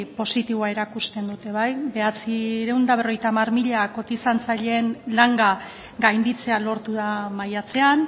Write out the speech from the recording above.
positiboa erakusten dute bederatziehun eta berrogeita hamar mila kotizatzaileen langa gainditzea lortu da maiatzean